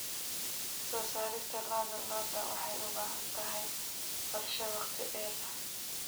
Soo saarista lo'da lo'da waxay u baahan tahay qorshe wakhti dheer ah.